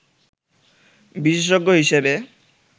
বিশেষজ্ঞ হিসেবে